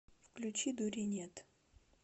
включи дури нет